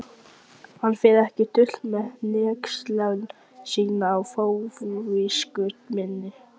Hver á að leiðrétta æðsta handhafa alræðis öreiganna?